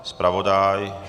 Zpravodaj?